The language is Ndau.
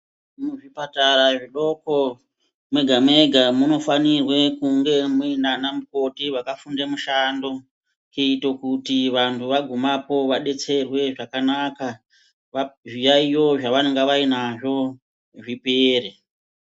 Muzvipatara zvidoko mega-mega munofanirwe kunge munanamukoti vakafunde mushando. Kuite kuti vantu vagumapo vabetserwe zvakanaka zviyaiyo zvavanonga vainazvo zvipere.